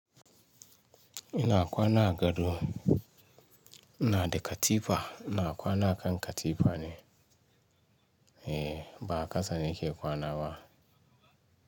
Ina kwana a gado, inada katifa, ina kwana akan katifana. E, ba a qasa nake kwana ba.